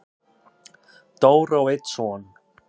Dóra á einn son.